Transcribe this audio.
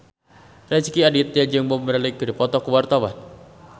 Rezky Aditya jeung Bob Marley keur dipoto ku wartawan